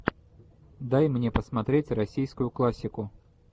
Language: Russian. дай мне посмотреть российскую классику